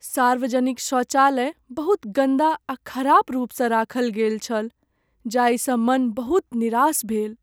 सार्वजनिक शौचालय बहुत गन्दा आ खराब रूपसँ राखल गेल छल जाहिसँ मन बहुत निरास भेल।